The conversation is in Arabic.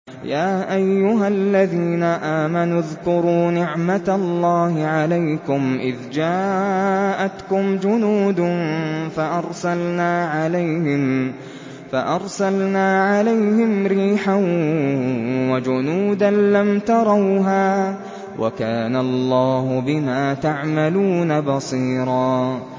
يَا أَيُّهَا الَّذِينَ آمَنُوا اذْكُرُوا نِعْمَةَ اللَّهِ عَلَيْكُمْ إِذْ جَاءَتْكُمْ جُنُودٌ فَأَرْسَلْنَا عَلَيْهِمْ رِيحًا وَجُنُودًا لَّمْ تَرَوْهَا ۚ وَكَانَ اللَّهُ بِمَا تَعْمَلُونَ بَصِيرًا